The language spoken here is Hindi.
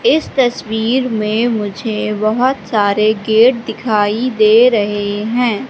इस तस्वीर में मुझे बहोत सारे गेट दिखाई दे रहे हैं।